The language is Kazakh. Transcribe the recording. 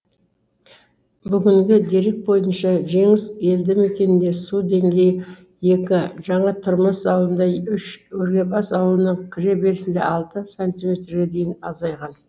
бүгінгі дерек бойынша жеңіс елді мекенінде су деңгейі екі жаңатұрмыс ауылында үш өргебас ауылының кіре берісінде алты сантиметрге дейін азайған